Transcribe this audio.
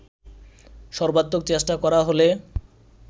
সর্বাত্মক চেষ্টা করা হলে